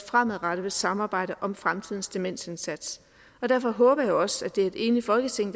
fremadrettet vil samarbejde om fremtidens demensindsats og derfor håber jeg også at det er et enigt folketing